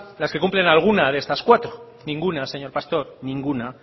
las que cumplan alguna de estas cuatro ninguna señor pastor ninguna